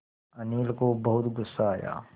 अनिल को बहुत गु़स्सा आया